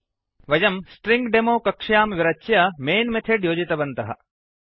वयं string demo string demo कक्ष्यां विरच्य मैन् मेथड् योजितवन्तः